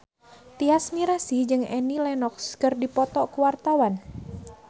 Tyas Mirasih jeung Annie Lenox keur dipoto ku wartawan